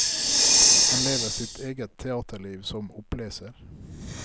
Han lever sitt eget teaterliv som oppleser.